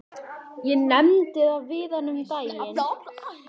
Ég nefndi það við hana um daginn.